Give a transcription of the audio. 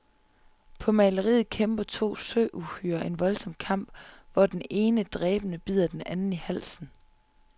På maleriet kæmper to søuhyrer en voldsom kamp, hvor den ene dræbende bider den anden i halsen.